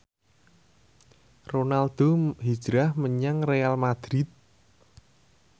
Ronaldo hijrah menyang Real madrid